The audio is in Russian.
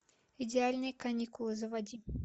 идеальные каникулы заводи